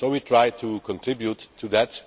We try to contribute to that.